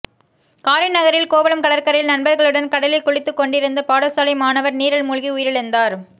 காரைநகரில் கோவளம் கடற்கரையில் நண்பர்களுடன் கடலில் குளித்துக்கொண்டிருந்த பாடசாலை மாணவன் நீரில் மூழ்கி உயிரிழந்தார்